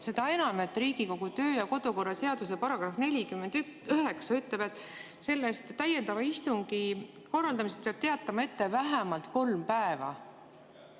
Seda enam, et Riigikogu kodu‑ ja töökorra seaduse § 49 ütleb, et täiendava istungi korraldamisest peab teatama ette vähemalt kolm päeva.